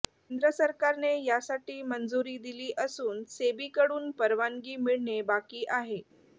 केंद्र सरकारने यासाठी मंजूरी दिली असून सेबीकडून परवानगी मिळणे बाकी आहे